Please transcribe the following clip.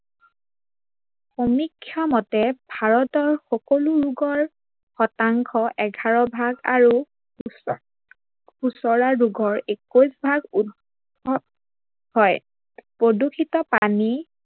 সমিক্ষা মতে ভাৰতৰ সকলো ৰোগৰ শতাংশ এঘাৰ ভাগ আৰু সোচৰা ৰোগৰ একৈশ ভাগ উদ্ভৱ হয়। প্ৰদূৰ্ষিত পানী